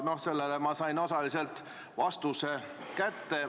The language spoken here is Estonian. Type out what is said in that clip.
No sellele ma sain osaliselt vastuse kätte.